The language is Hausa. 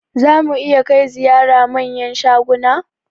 Za mu iya kai ziyara manyan shaguna?